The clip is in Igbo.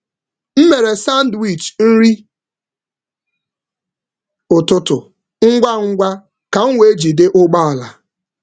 M mere sandwich nri ụtụtụ ngwa ngwa ka m wee jide ụgbọ ala.